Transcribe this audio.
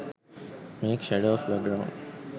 make shadow of background